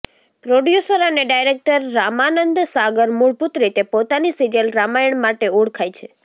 producer અને director Ramanand Sagar મૂળભૂત રીતે પોતાની સિરીયલ રામાયણ માટે ઓળખાય છે